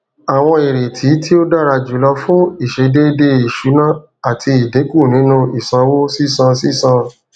awọn ireti ti o dara julọ fun iṣedede iṣuna ati idinku ninu isanwo sisan sisan